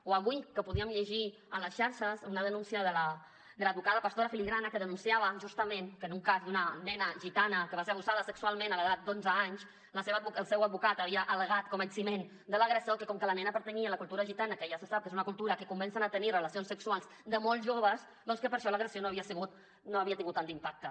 o avui que podíem llegir a les xarxes una denúncia de l’advocada pastora filigrana que denunciava justament que en un cas d’una nena gitana que va ser abusada sexualment a l’edat d’onze anys el seu advocat havia al·legat com a eximent de l’agressor que com que la nena pertanyia a la cultura gitana que ja se sap que és una cultura en què comencen a tenir relacions sexuals de molt joves doncs que per això l’agressió no havia tingut tant d’impacte